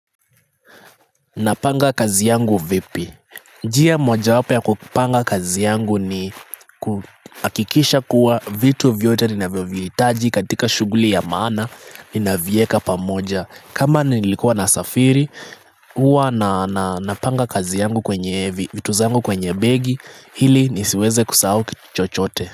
Napanga kazi yangu vipi njia moja wapo ya kupanga kazi yangu ni hakikisha kuwa vitu vyote ninavyo vihitaji katika shughuli ya maana Nina vieka pamoja kama nilikuwa na safiri huwa na napanga kazi yangu kwenye, vitu zangu kwenye begi Hili nisiweze kusahau kitu chochote.